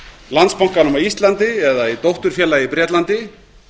landsbankanum á íslandi eða í dótturfélagi á bretlandi